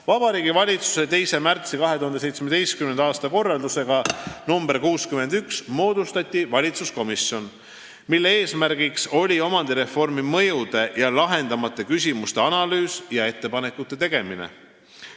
" Vabariigi Valitsuse 2. märtsi 2017. aasta korraldusega nr 61 moodustati valitsuskomisjon, mille eesmärk oli omandireformi mõjude ja lahendamata küsimuste analüüs ja ettepanekute tegemine.